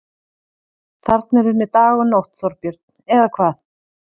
Þarna er unnið dag og nótt, Þorbjörn, eða hvað?